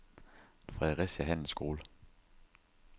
Fredericia Handelsskole